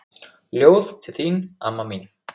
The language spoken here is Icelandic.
Ljóð til þín amma mín.